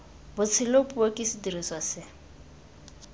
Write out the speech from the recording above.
botshelo puo ke sediriswa se